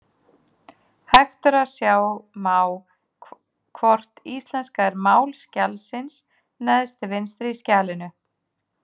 Hægt er að sjá má hvort íslenska er mál skjalsins neðst til vinstri í skjalinu.